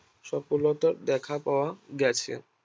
সফলতা দেখা পাওয়া গেছে